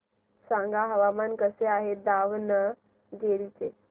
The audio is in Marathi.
सांगा हवामान कसे आहे दावणगेरे चे